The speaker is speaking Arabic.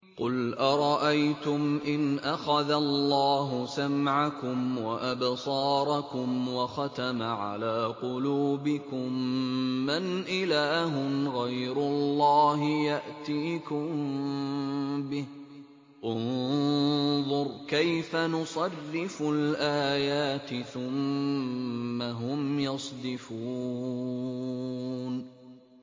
قُلْ أَرَأَيْتُمْ إِنْ أَخَذَ اللَّهُ سَمْعَكُمْ وَأَبْصَارَكُمْ وَخَتَمَ عَلَىٰ قُلُوبِكُم مَّنْ إِلَٰهٌ غَيْرُ اللَّهِ يَأْتِيكُم بِهِ ۗ انظُرْ كَيْفَ نُصَرِّفُ الْآيَاتِ ثُمَّ هُمْ يَصْدِفُونَ